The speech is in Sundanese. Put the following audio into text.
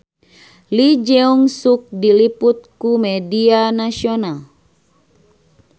Lee Jeong Suk diliput ku media nasional